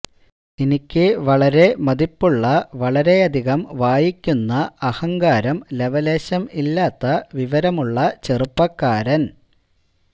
എനിക്ക് വളരെ മതിപ്പുള്ള വളരെ അധികം വായിക്കുന്ന അഹങ്കാരം ലവലേശം ഇല്ലാത്ത വിവരമുള്ള ചെറുപ്പക്കാരൻ